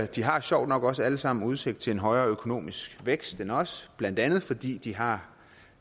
de har sjovt nok også alle sammen udsigt til en højere økonomisk vækst end os blandt andet fordi de har